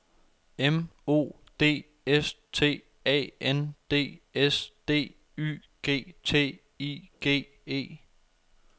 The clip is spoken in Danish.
M O D S T A N D S D Y G T I G E